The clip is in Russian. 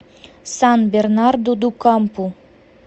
сан бернарду ду кампу